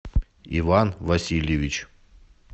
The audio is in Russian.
иван васильевич